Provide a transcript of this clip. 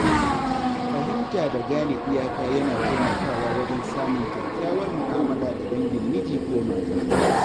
Fahimta da gane iyaka yana taimakawa wajen samun kyakkyawar mu’amala da dangin miji ko mata.